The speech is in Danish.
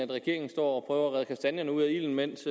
regeringen står og prøver at redde kastanjerne ud af ilden mens